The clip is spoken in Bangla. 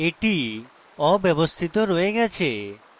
that অব্যাবস্থিত রয়ে গেছে